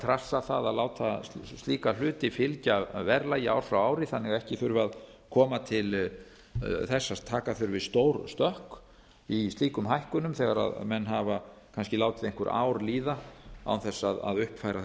trassa það að láta slíka hluti fylgja verðlagi ár frá ári þannig að ekki þurfi að koma til þess að taka þurfi stór stökk í slíkum hækkunum þegar menn hafa kannski látið einhver ár líða án þess að uppfæra